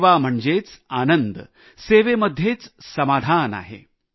सेवा म्हणजेच आनंद सेवेमध्येच समाधान आहे